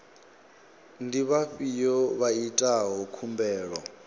ndi vhafhio vha itaho khumbelo